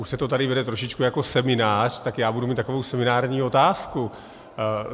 Už se to tady vede trošičku jako seminář, tak já budu mít takovou seminární otázku.